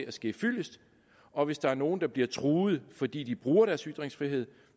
at ske fyldest og hvis der er nogen der bliver truet fordi de bruger deres ytringsfrihed